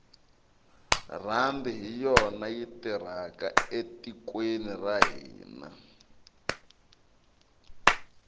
rhandi hi yona yi tirhaka etikweni ra hina